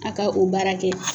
A ka o baara di e ma